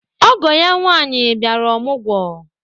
Ọgọ ya nwaanyị bịara ọmụgwọ